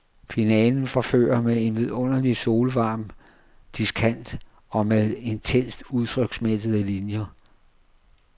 Finalen forfører med en vidunderlig solvarm diskant og med intenst udtryksmættede linier.